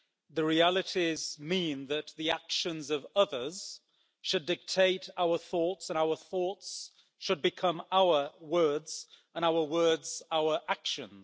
The realities mean that the actions of others should dictate our thoughts, and our thoughts should become our words, and our words our actions.